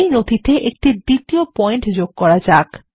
এই নথিতে একটি দ্বিতীয় পয়েন্ট যোগ করা যাক